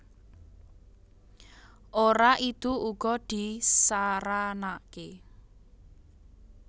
Ora idu uga disaranaké